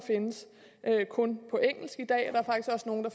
kun